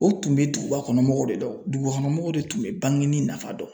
O tun bɛ duguba kɔnɔ mɔgɔw de dɔn , dugubakɔnɔmɔgɔw de tun bɛ bangeni nafa dɔn